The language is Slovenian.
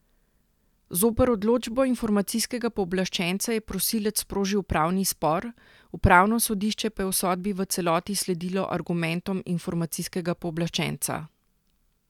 Zoper odločbo informacijskega pooblaščenca je prosilec sprožil upravni spor, upravno sodišče pa je v sodbi v celoti sledilo argumentom informacijskega pooblaščenca.